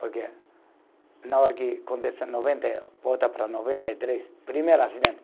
Porque na hora que acontece noventa e, voltar para noventa e três, primeiro acidente.